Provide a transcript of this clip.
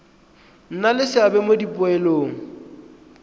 nna le seabe mo dipoelong